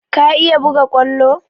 Ka iya buga kwallo?